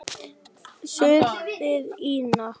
Segðu það ekki